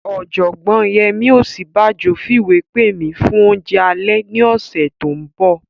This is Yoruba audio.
Ọ̀jọ̀gbọ́n Yẹmí Ọ̀síbánjọ fìwé pè mi fún oúnjẹ alẹ́ ní ọ̀sẹ̀ tó n bọ̀